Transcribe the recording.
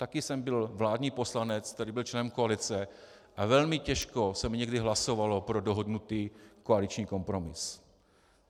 Taky jsem byl vládní poslanec, který byl členem koalice, a velmi těžko se mi někdy hlasovalo pro dohodnutý koaliční kompromis.